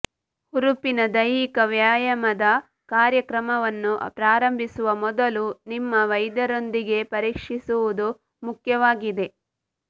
ಹುರುಪಿನ ದೈಹಿಕ ವ್ಯಾಯಾಮದ ಕಾರ್ಯಕ್ರಮವನ್ನು ಪ್ರಾರಂಭಿಸುವ ಮೊದಲು ನಿಮ್ಮ ವೈದ್ಯರೊಂದಿಗೆ ಪರೀಕ್ಷಿಸುವುದು ಮುಖ್ಯವಾಗಿದೆ